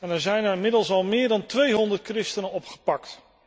Er zijn er inmiddels al meer dan 200 christenen opgepakt.